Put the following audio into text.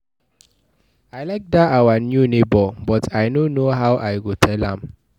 I like dat our new neighbor but I no know how I go tell am